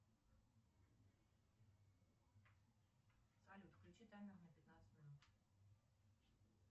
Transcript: салют включи таймер на пятнадцать минут